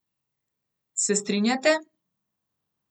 Se strinjate?